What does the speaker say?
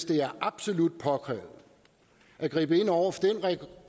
det er absolut påkrævet at gribe ind over for den